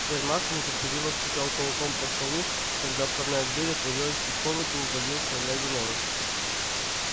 сермак нетерпеливо стучал кулаком по столу когда входная дверь отворилась и в комнату ввалился леви нораст